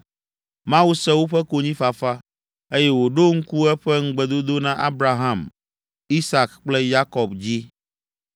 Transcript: Mawu se woƒe konyifafa, eye wòɖo ŋku eƒe ŋugbedodo na Abraham, Isak kple Yakob dzi.